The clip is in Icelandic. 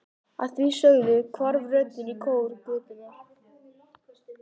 Að því sögðu hvarf röddin í kór götunnar.